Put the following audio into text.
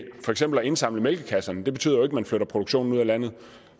co at indsamle mælkekasserne det betyder jo ikke at man flytter produktionen ud af landet